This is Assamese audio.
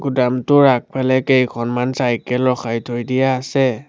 ড্ৰাম টোৰ আগফালে কেইখনমান চাইকেল ৰখাই থৈ দিয়া আছে।